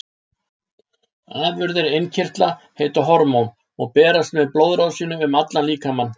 Afurðir innkirtla heita hormón og berast með blóðrásinni um allan líkamann.